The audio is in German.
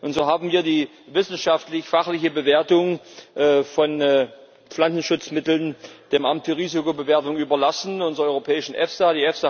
Und so haben wir die wissenschaftlich fachliche Bewertung von Pflanzenschutzmitteln dem Amt für Risikobewertung überlassen, unserer europäischen EFSA.